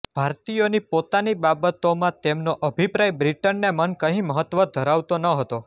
ભારતીયોની પોતાની બાબતોમાં તેમનો અભિપ્રાય બ્રિટનને મન કંઈ મહત્વ ધરાવતો નહોતો